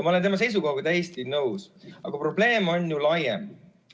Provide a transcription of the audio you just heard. Ma olen tema seisukohaga täiesti nõus, aga probleem on laiem.